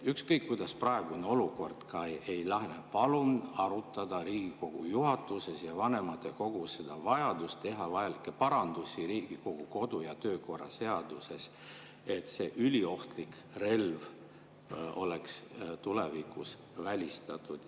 Ükskõik kuidas praegune olukord ka ei lahene, palun arutada Riigikogu juhatuses ja vanematekogus vajadust teha parandusi Riigikogu kodu‑ ja töökorra seaduses, et see üliohtlik relv oleks tulevikus välistatud.